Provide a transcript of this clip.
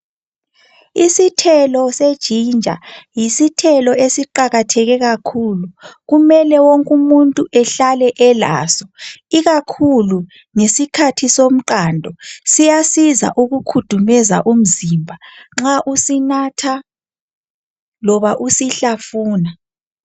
Isithelo se"Ginger"yisithelo esiqakatheke kakhulu kumele wonk'umuntu ehlale elaso, ikakhulu ngesikhathi somqando, siyasiza ukukhudumeza umzimba nxa usinatha loba usihlafuna.